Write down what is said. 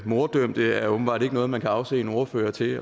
morddømte er åbenbart ikke noget man kan afse en ordfører til